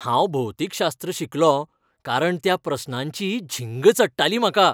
हांव भौतीकशास्त्र शिकलों कारण त्या प्रस्नांची झिंग चडटाली म्हाका.